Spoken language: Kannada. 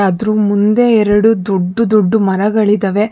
ಅದ್ರು ಮುಂದೆ ಎರಡು ದೊಡ್ದು ದೊಡ್ದು ಮರಗಳಿದಾವೆ.